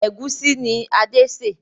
Ẹ̀gúsí ni Adé sè